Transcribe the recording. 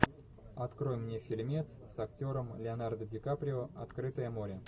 открой мне фильмец с актером леонардо дикаприо открытое море